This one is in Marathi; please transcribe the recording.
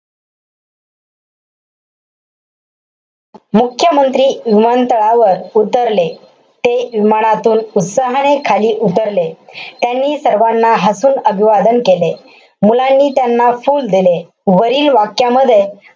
मुख्यमंत्री विमानतळावर उतरले. ते विमानातून उत्साहाने खाली उतरले. त्यांनी सर्वाना हसून अभिवादन केले. मुलांनी त्यांना फुल दिले. वरील वाक्यामध्ये,